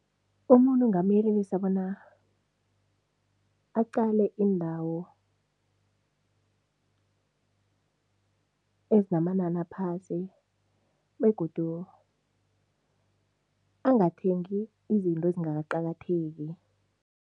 Umuntu ngingamyelelisa bona aqale iindawo ezinamanani aphasi begodu angathengi izinto ezingakaqakatheki.